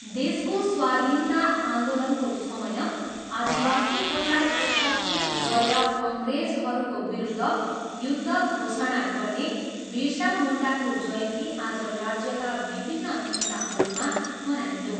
देशको स्वाधीनता आन्दोलनको समय आदिवासीहरूलाई एकत्रित गरेर अङ्ग्रेजहरूको विरूद्ध युद्ध घोषणा गर्ने विरसा मुन्डाको जयन्ती आज राज्यका विभिन्न हिस्साहरूमा मनाइयो।